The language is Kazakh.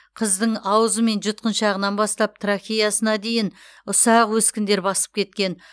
қыздың аузы мен жұтқыншағынан бастап трахеясына дейін ұсақ өскіндер басып кеткен